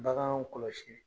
Baganw kɔlɔsili